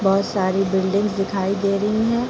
बहोत सारी बिल्डिंग्स दिखाई दे रही हैं।